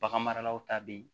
Bagan maralaw ta bɛ yen